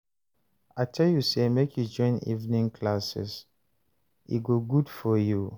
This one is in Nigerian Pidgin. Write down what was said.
I tell you say make you join evening classes, e go good for you